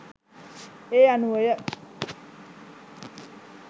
ඒ අනුවය.